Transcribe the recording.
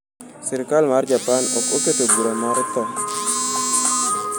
Sirkal mar Japan ok oketo bura mar tho.